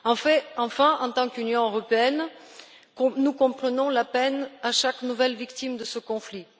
Enfin, en tant qu'Union européenne, nous comprenons la peine causée à chaque nouvelle victime de ce conflit.